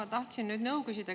Ma tahtsin nõu küsida.